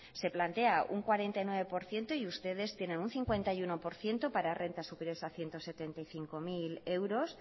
se plantea un cuarenta y nueve por ciento y ustedes tienen un cincuenta y uno por ciento para rentas superiores a ciento setenta y cinco mil euros